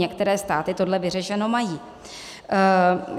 Některé státy toto vyřešeno mají.